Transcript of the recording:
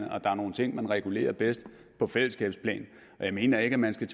og der er nogle ting man regulerer bedst på fællesskabets plan og jeg mener ikke man skal